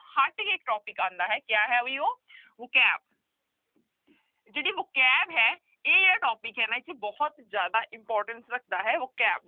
ਹਟਕੇ ਇੱਕ topic ਆਉਂਦਾ ਹੈ ਕਿਆ ਹੈ ਵੀ ਉਹ vocabulary ਜਿਹੜੀ vocabulary ਹੈ ਇਹ ਜਿਹੜਾ topic ਹੈ ਬਹੁਤ ਜ਼ਿਆਦਾ importance ਰੱਖਦੇ ਹੈ vocab